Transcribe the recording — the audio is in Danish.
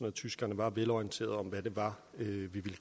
at tyskerne var velorienteret om hvad det var vi ville